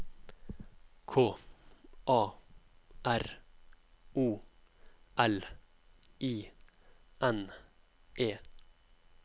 K A R O L I N E